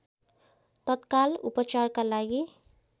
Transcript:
तत्काल उपचारका लागि